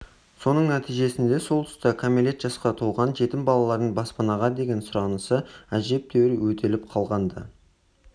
соның нәтижесінде сол тұста кәмелет жасқа толған жетім балалардың баспанаға деген сұранысы әжептәуір өтеліп қалған-ды